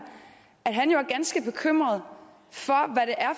at han er ganske bekymret